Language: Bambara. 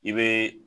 I bɛ